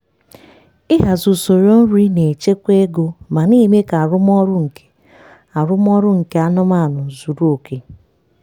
ịhazi usoro nri na-echekwa ego ma na-eme ka arụmọrụ nke arụmọrụ nke anụmanụ zuru oke.